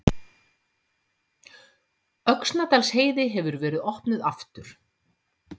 Öxnadalsheiði hefur verið opnuð aftur